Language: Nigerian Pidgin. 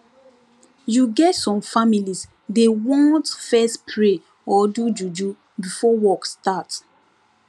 you get some families dey want fess pray or do juju before work start